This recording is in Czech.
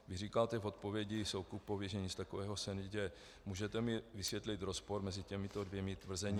Když říkáte v odpovědi Soukupovi, že nic takového se neděje, můžete mi vysvětlit rozpor mezi těmito dvěma tvrzeními?